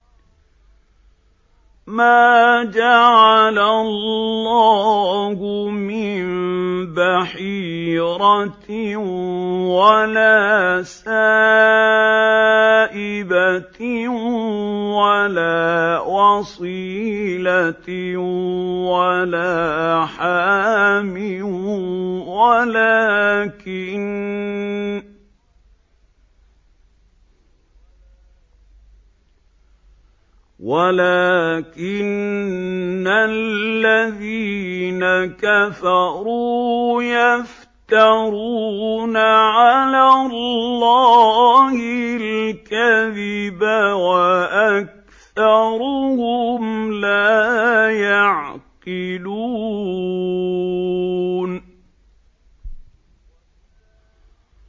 مَا جَعَلَ اللَّهُ مِن بَحِيرَةٍ وَلَا سَائِبَةٍ وَلَا وَصِيلَةٍ وَلَا حَامٍ ۙ وَلَٰكِنَّ الَّذِينَ كَفَرُوا يَفْتَرُونَ عَلَى اللَّهِ الْكَذِبَ ۖ وَأَكْثَرُهُمْ لَا يَعْقِلُونَ